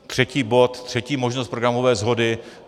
Třetí bod, třetí možnost programové shody.